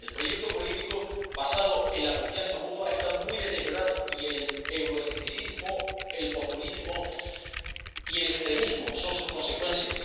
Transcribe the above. El proyecto político basado en la confianza mutua está muy deteriorado, y el euroescepticismo, el populismo y el extremismo son sus consecuencias.